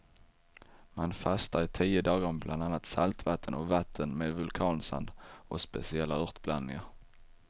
Man fastar i tio dagar med bland annat saltvatten och vatten med vulkansand och speciella örtblandningar.